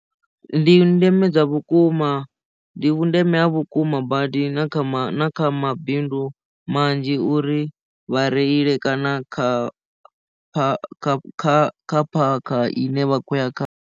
Ndi ndeme dza vhukuma ndi vhundeme ha vhukuma badi na kha kha mabindu manzhi uri vha reile kana kha kha kha kha phakha ine vha khou ya kha.